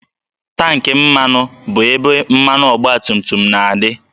Tankị mmanụ bụ ebe mmanụ ọgbatumtum na-adị